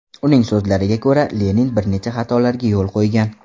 Uning so‘zlariga ko‘ra, Lenin bir nechta xatolarga yo‘l qo‘ygan.